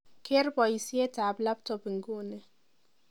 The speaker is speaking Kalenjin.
keer boisyet ab labtop inguni